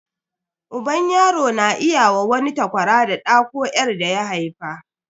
Uban yaro na iya wa wani takwara da ɗa ko 'yar daya haifa.